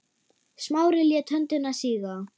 Smári lét höndina síga.